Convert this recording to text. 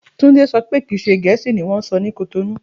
Túnde so̩ pé kì í Gè̩é̩sì ni wón ń so̩ ni Kotonú